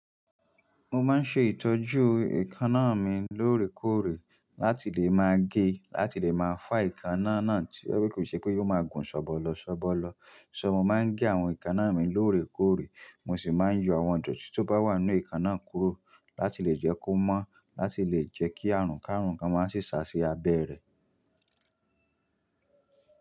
Mo máa ń ṣe ìtọ́jú èékánná mi lóòrèkóòrè láti lè máa gé, láti lè máa fá èékánná náà tí ó kò ṣe pé ò máa gùn ṣọ̀bọ̀lọṣọ̀bọ̀lọ̀. Ṣọ̀, mo máa ń gé àwọn èékánná mi lóòrèkóòrè, mo sì máa ń yọ àwọn idòtí tó bá wà nínú èékánná kúrò láti lè jẹ́ kó mọ́, láti lè jẹ́ kí àrùnkárùn kan máa sì sá sí abẹ́ rẹ̀.